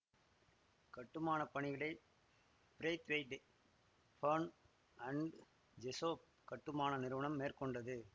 கட்டுமான பணிகளை Braithwaite Burn and Jessop கட்டுமான நிறுவனம் மேற்கொண்டது